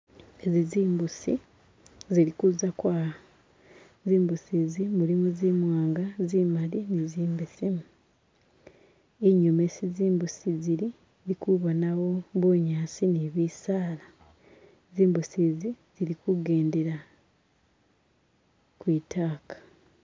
Ezi zimbusi zili kuza kwaya zimbusi zi mulimo zimwanga, zimali ni zimbesemu. Inyuma esi zimbusi zili indikubonawo bunyasi ni bisaala, zimbusi zili kugendela kwitaka.